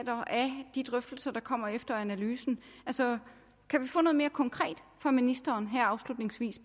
de drøftelser der kommer efter analysen altså kan vi få noget mere konkret fra ministeren her afslutningsvis